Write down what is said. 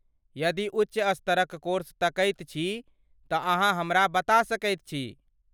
यदि उच्च स्तरक कोर्स तकैत छी, तँ अहाँ हमरा बता सकैत छी।